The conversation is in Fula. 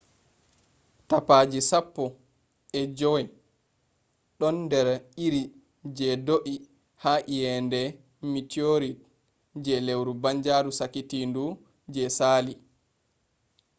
tapaji sappo e jowey ɗon nder iri je do’i ha iyende mitiorit je lewru banjaaru sakitindu je saali